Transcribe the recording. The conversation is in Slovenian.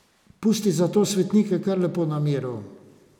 Pusti zato svetnike kar lepo na miru.